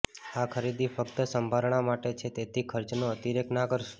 આ ખરીદી ફક્ત સંભારણા માટે છે તેથી ખર્ચનો અતિરેક ના કરશો